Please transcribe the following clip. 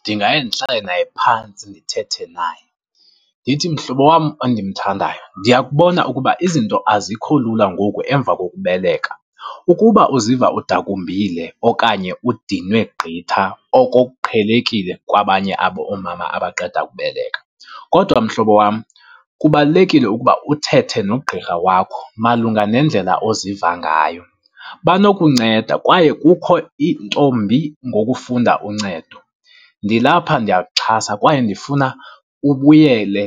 Ndingaye ndihlale naye phantsi, ndithethe naye. Ndithi mhlobo wam endimthandayo, ndiyakubona ukuba izinto azikho lula ngoku emva kokubeleka. Ukuba uziva udakumbile okanye udinwe gqitha, oko kuqhelekile kwabanye aboomama abaqeda kubeleka. Kodwa mhlobo wam kubalulekile ukuba uthethe nogqirha wakho malunga nendlela oziva ngayo, banokunceda kwaye kukho intombi ngokufunda uncedo. Ndilapha ndiyakuxhasa kwaye ndifuna ubuyele